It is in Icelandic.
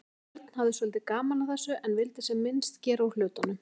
Örn hafði svolítið gaman af þessu en vildi sem minnst gera úr hlutunum.